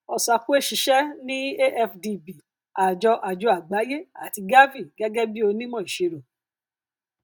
osakwe ṣiṣẹ ní afdb àjọ àjọ àgbáyé àti gavi gẹgẹ bí onímọ ìsirò